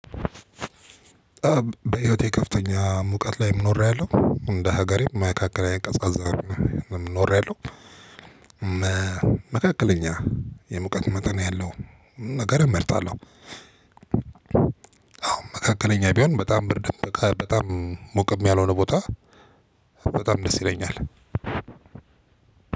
በህይወቴ ከፍተኛ ሙቀት ላይ ኖሬያለሁ እንደ ሀገሬ መካከለኛ ቀዝቃዛ ኖሬያለሁ። መካከለኛ የሙቀት መጠን ያለው ነገር እመርጣለሁ። አዎ መካከለኛ ቢሆን በጣም ብርድ በጣም ሙቅም ያልሆነ ቦታ። በጣም ደስ ይለኛል።